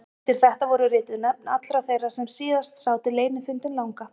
Undir þetta voru rituð nöfn allra þeirra sem síðast sátu leynifundinn langa.